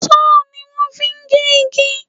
Sọ́họ̀ ni wón fi ń gé igi.